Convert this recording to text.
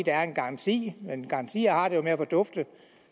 er en garanti men sådanne garantier har det jo med at fordufte